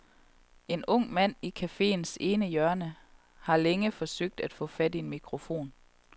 En ung mand i caféens ene hjørne har længe forsøgt at få fat i en mikrofon.